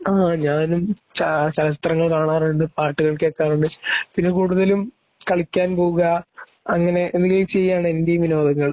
ങാഹ്... ഞാനും ചലച്ചിത്രങ്ങൾ കാണാറുണ്ട് പാട്ടുകൾ കേൾക്കാറുണ്ട്. പിന്നെ കൂടുതലും കളിക്കാൻ പോകുക അങ്ങനെ എന്തേലും ചെയ്യുക ആണ് എന്റേയും വിനോദങ്ങൾ.